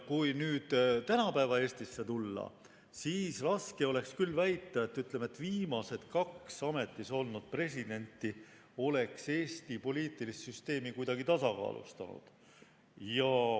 Kui nüüd tänapäeva Eesti juurde tulla, siis oleks küll raske väita, ütleme, et viimased kaks ametis olnud presidenti oleks Eesti poliitilist süsteemi kuidagi tasakaalustanud.